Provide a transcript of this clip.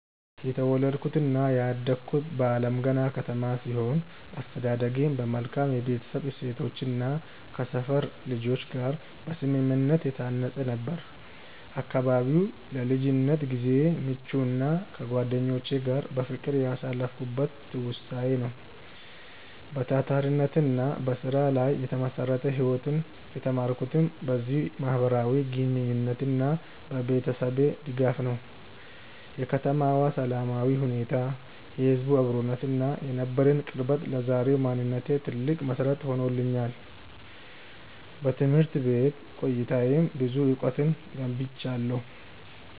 የተወለድኩትና ያደግኩት በአለምገና ከተማ ሲሆን፣ አስተዳደጌም በመልካም የቤተሰብ እሴቶችና ከሰፈር ልጆች ጋር በስምምነት የታነጸ ነበር። አካባቢው ለልጅነት ጊዜዬ ምቹና ከጓደኞቼ ጋር በፍቅር ያሳለፍኩበት ትውስታዬ ነው። በታታሪነትና በስራ ላይ የተመሰረተ ህይወትን የተማርኩትም በዚሁ ማህበራዊ ግንኙነትና በቤተሰቤ ድጋፍ ነው። የከተማዋ ሰላማዊ ሁኔታ፣ የህዝቡ አብሮነትና የነበረን ቅርበት ለዛሬው ማንነቴ ትልቅ መሰረት ሆኖኛል። በትምህርት ቤት ቆይታዬም ብዙ እውቀትን ገብይቻለሁ።